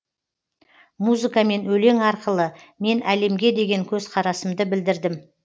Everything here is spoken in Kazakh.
музыка мен өлең арқылы мен әлемге деген көзқарасымды білдірдім